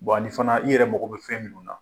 ani fana i yɛrɛ mago bɛ fɛn minnu na.